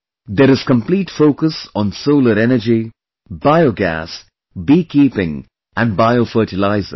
There is complete focus on Solar Energy, Biogas, Bee Keeping and Bio Fertilizers